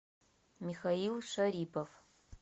михаил шарипов